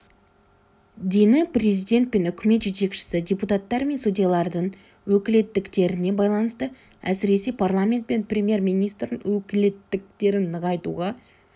дені президент пен үкімет жетекшісі депутаттар мен судьялардың өкілеттіктеріне байланысты әсіресе парламент пен премьер-министрдің өкілеттіктерін нығайтуға